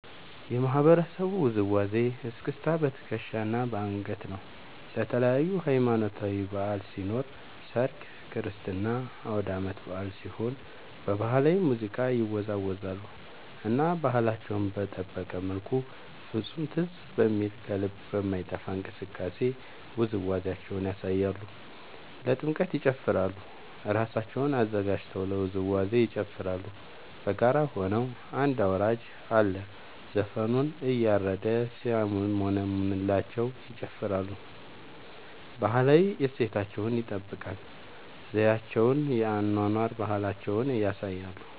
የማህበረሰቡ ውዝዋዜ እስክስታ በትከሻ እና በአንገት ነው። ለተለያዪ ሀማኖታዊ በዐል ሲኖር ሰርግ ክርስትና አውዳመት በአል ሲሆን በባህላዊ ሙዚቃ ይወዛወዛሉ እና ባህላቸውን በጠበቀ መልኩ ፍፁም ትዝ በሚል ከልብ በማይጠፍ እንቅስቃሴ ውዝዋዜያቸውን ያሳያሉ። ለጥምቀት ይጨፉራሉ እራሳቸውን አዘጋጅተው ለውዝዋዜ ይጨፋራሉ በጋራ ሆነው አንድ አውራጅ አለ ዘፈኑን እያረደ ሲያሞነምንላቸው ይጨፍራሉ። ባህላዊ እሴታቸውን ይጠብቃል ዘዪቸውን የአኗኗር ባህላቸውን ያሳያሉ።